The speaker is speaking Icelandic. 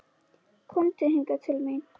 Komdu hingað til mín!